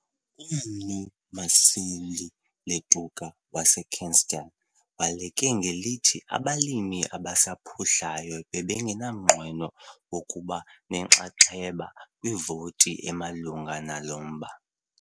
UMnu Maseli Letuka waseKestell waleke ngelithi abalimi abasaphuhlayo bebengenamnqweno wokuba nenxaxheba kwivoti emalunga nalo mba.